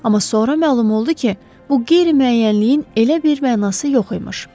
Amma sonra məlum oldu ki, bu qeyri-müəyyənliyin elə bir mənası yox imiş.